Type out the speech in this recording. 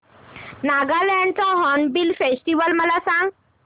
नागालँड चा Hornbill Festival मला सांग